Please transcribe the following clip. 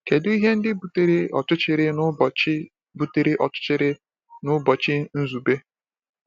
Kedu ihe ndị butere ọchịchịrị n’ụbọchị butere ọchịchịrị n’ụbọchị Nzube?